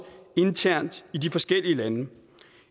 internt i de forskellige lande